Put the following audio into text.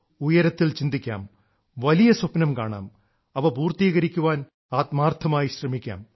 ഉയരത്തിൽ ചിന്തിക്കാം വലിയ സ്വപ്നം കാണാം അവ പൂർത്തീകരിക്കാൻ ആത്മാർത്ഥമായ് ശ്രമിക്കാം